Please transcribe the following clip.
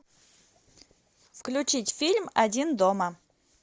включить фильм один дома